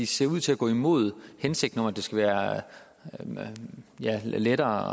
ser ud til at gå imod hensigten om at det skal være lettere